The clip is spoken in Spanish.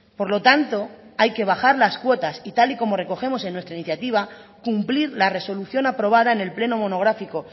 por lo tanto hay que bajar las cuotas y tal y como recogemos en nuestra iniciativa cumplir la resolución aprobada en el pleno monográfico